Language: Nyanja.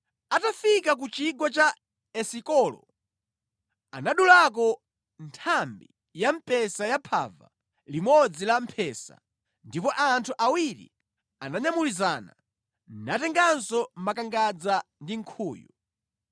Atafika ku chigwa cha Esikolo, anadulako nthambi ya mpesa ya phava limodzi la mphesa ndipo anthu awiri ananyamulizana, natenganso makangadza ndi nkhuyu.